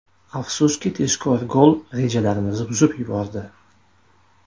Afsuski tezkor gol rejalarimizni buzib yubordi.